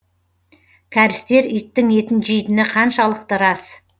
кәрістер иттің етін жейтіні қаншалықты рас